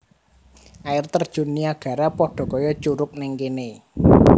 Air Terjun Niagara podo koyo curug ning kene